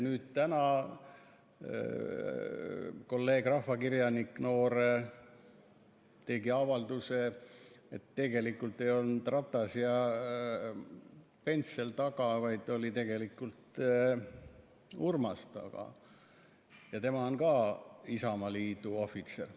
Nüüd täna noor kolleeg rahvakirjanik tegi avalduse, et tegelikult ei olnud Ratas ja Pence seal taga, vaid oli Urmas, ja tema on ka Isamaaliidu ohvitser.